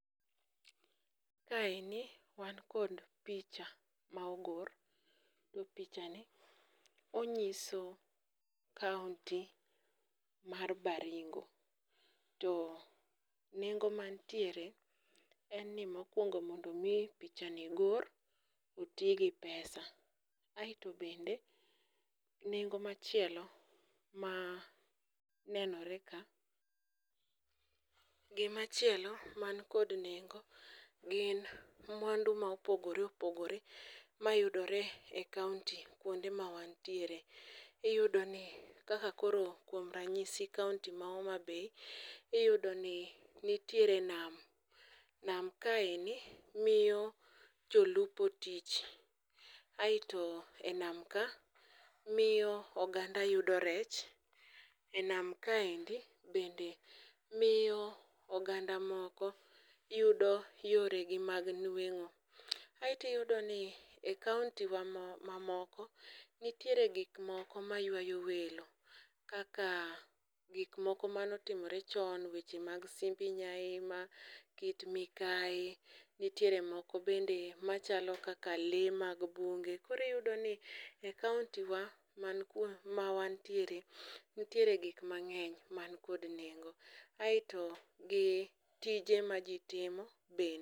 Kaeni wan kod picha ma ogor, to pichani onyiso kaonti mar Baringo, to nengo mantiere eni mokwongo mondo omi pichani gor, oti gi pesa. Aeto bende nengo machielo ma nenore ka gimachielo man kod nengo gin mwandu ma opogore opogore mayudore e kaonti kwonde ma wantiere iyudoni kaka koro kuom ranyisi kaonti ma Homabay, iyudoni nitiere nam, nam kaendi miyo jolupo tich, aeto e nam ka, miyo oganda yudo rech,e nam kaendi bende miyo oganda moko yudo yoregi mag nweng'o, aeto iyudo ni e kaontiwa mamoko nitiere gik moko maywayo welo kaka gikmoko manotimore chon, weche mag Simbi Nyaima, Kit Mikayi, nitiere moko bende machalo kaka lee mag bunge, koro iyudoni e kaontiwa ma wantiere, nitiere gik mang'eny man kod nengo aeto gi tije ma ji timo bende.